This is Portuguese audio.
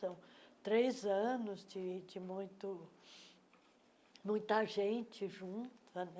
três anos de de muito muita gente junta, né?